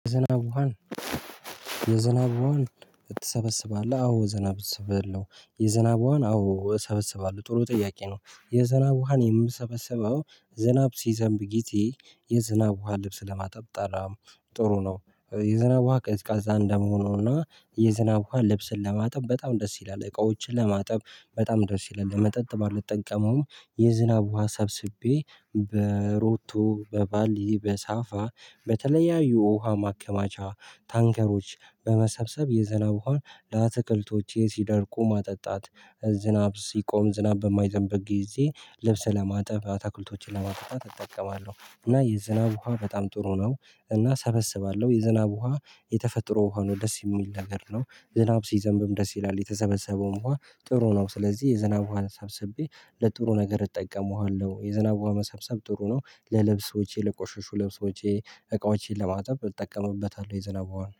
የዝናብ ውሃን የዝናብ ውሃን ትሰበስባለህ አዎ የዝናብ ውሃን እሰበስባለሁ? የዝናብ ውሃን አዎ እሰበስባለሁ ጥሩ ጥያቄ ነው የዝናብ ውሃን የምሰበስበው ዝናብ ሲዘንብ ጊዜ የዝናብ ውሃ ልብስ ለማጠብ ጥሩ ነው የዝናብ ውሃ ቀዝቃዛ እንደመሆኑና የዝናብ ውሃ ልብስን ለማጠብ በጣም ደስ ይላል እቃዎችን ለማጠብ በጣም ደስ ይላል ለመጠጥ ባልጠቀመውም የዝናብ ውሃ ሰብስቤ በሮቶ፣ በባሊ፣ በሳፋ በተለያዩ ውሃ ማከማቻ ታንከሮች በመሰብሰብ የዘናብ ውሃን ለአትክልቶቼ ሲደርቁ ማጠጣት ዝናብ ሲቆም ዝናብ በማይዘንብበት ጊዜ ልብስ ለማጠብ አትክልቶችን ለማጠጣት እጠቀማለሁ እና የዝናብ ውሃ በጣም ጥሩ ነው። እና እሰበስባለሁ የዝናብ ውሃ የተፈጥሮ ሆኖ ደስ የሚል ነገር ነው። ዝናብ ሲዘንብም ደስ ይላል የተሰበሰበውም ውሃ ጥሩ ነው ስለዚህ የዝናብ ውሃን ሰብስቤ ለጥሩ ነገር እጠቀመዋለሁ። የዝናብ ውሃን መሰብሰብ ጥሩ ነው ለልብሶቼ ለቆሸሹ ልብሶቼ እቃዎቼን ለማጠብ እጠቀምበታለሁ የዝናብ ውሃን